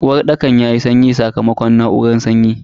Uwarɗakan yayi sanyi sakamakon na'uran sanyi.